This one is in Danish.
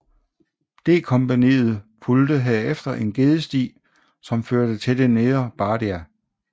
D kompagniet fulgte herefter en gedesti som førte til det nedre Bardia